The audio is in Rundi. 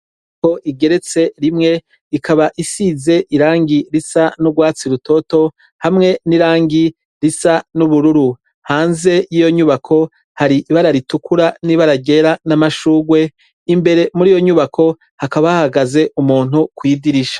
Igorofa igeretse rimwe ikaba isize irangi risa n'urwatsi rutoto hamwe n'irangi risa n'ubururu, hanze y'iyo nyubako hari ibara ritukura n'ibara ryera n'amashurwe, imbere muri iyo nyubako hakaba hahagaze umuntu kw'idirisha.